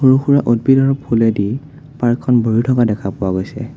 সৰু-সুৰা উদ্ভিদ আৰু ফুলেদি পাৰ্ক খন ভৰি থকা দেখা পোৱা গৈছে।